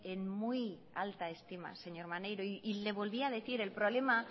en muy alta estima señor maneiro y le volví a decir el problema